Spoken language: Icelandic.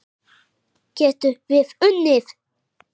Getum við unnið?